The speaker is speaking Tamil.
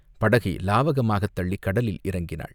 படகை லாவகமாகத் தள்ளிக் கடலில் இறங்கினாள்.